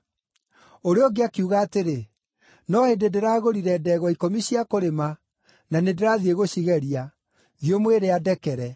“Ũrĩa ũngĩ akiuga atĩrĩ, ‘No hĩndĩ ndĩragũrire ndegwa ikũmi cia kũrĩma, na nĩndĩrathiĩ gũcigeria. Thiĩ ũmwĩre andekere.’